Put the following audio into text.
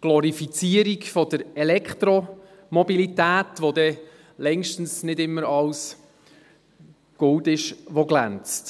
Glorifizierung der Elektromobilität, bei der dann längstens nicht immer alles Gold ist, was glänzt.